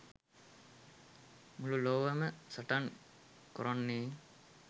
මුළු ලොවම සටන් කොරන්නේ